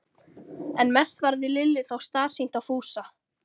En mest varð Lillu þó starsýnt á Fúsa.